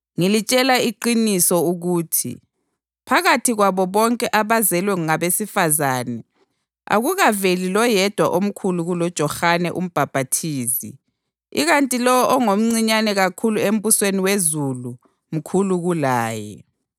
Ngilitshela iqiniso ukuthi, phakathi kwabo bonke abazelwe ngabesifazane akukaveli loyedwa omkhulu kuloJohane uMbhaphathizi ikanti lowo ongomncinyane kakhulu embusweni wezulu mkhulu kulaye.